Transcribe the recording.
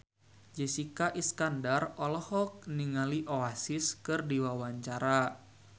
Jessica Iskandar olohok ningali Oasis keur diwawancara